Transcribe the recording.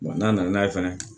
n'a nana n'a ye fɛnɛ